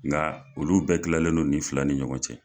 Nga olu bɛɛ kilalen no nin fila ni ɲɔgɔn cɛ.